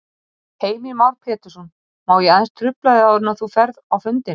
Heimir Már Pétursson: Má ég aðeins trufla þig áður en þú ferð á fundinn?